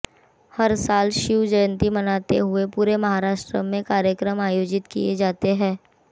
हर साल शिव जयंती मनाते हुए पूरे महाराष्ट्र में कार्यक्रम आयोजित किए जाते हैं